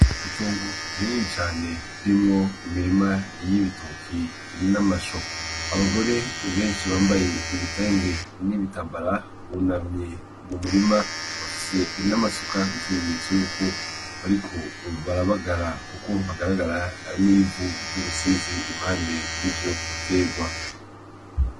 Itungu rinini cane rimwo imirima y'ibitoki irinamasho abagore benshi bambaye ibitange n'ibitabara bunamye mu murima bafise irin'amasuka ikimenyetso yuko, ariko barabagara, kuko hagaragara n'ivu ry'ubusizi impande y'ivyoka tegwa.